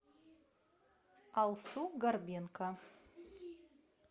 алсу горбенко